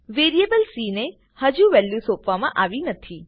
variable C ને હજુ value સોંપવામાં આવી નથી